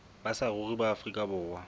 ba saruri ba afrika borwa